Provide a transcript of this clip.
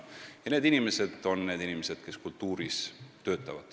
Need on need inimesed, kes töötavad kultuurivaldkonnas.